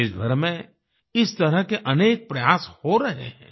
देशभर में इस तरह के अनेक प्रयास हो रहे हैं